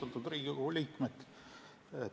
Austatud Riigikogu liikmed!